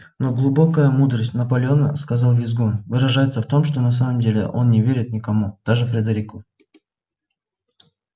но глубокая мудрость наполеона сказал визгун выражается в том что на самом деле он не верит никому даже фредерику